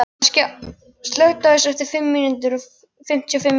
Askja, slökktu á þessu eftir fimmtíu og fimm mínútur.